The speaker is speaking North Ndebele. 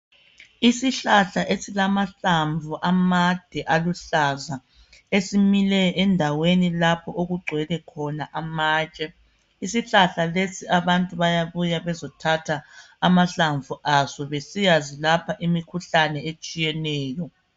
Isihlahla esilamahlamvu amade aluhlaza, esimile endaweni lapho okugcwele khona amatshe, isihlahla lesi abantu bayabuya bezothatha amahlamvu aso besiyazilapha imkhuhlane etshiyeneyo.